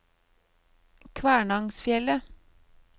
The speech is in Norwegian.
Kvænangsfjellet